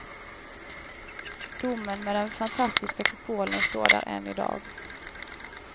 Domen med den fantastiska kupolen står där än i dag.